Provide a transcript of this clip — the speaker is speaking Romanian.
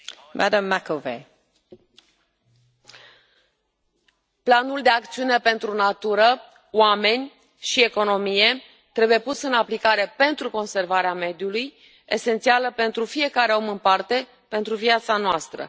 Doamna președintă, Planul de acțiune pentru natură, oameni și economie trebuie pus în aplicare pentru conservarea mediului, esențială pentru fiecare om în parte, pentru viața noastră.